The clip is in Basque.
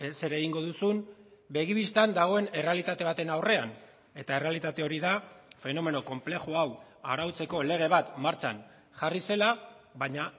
zer egingo duzun begi bistan dagoen errealitate baten aurrean eta errealitate hori da fenomeno konplexu hau arautzeko lege bat martxan jarri zela baina